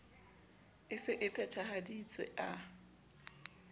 e se e phethahaditswe a